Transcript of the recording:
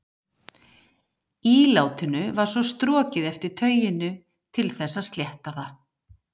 Ílátinu var svo strokið eftir tauinu til þess að slétta það.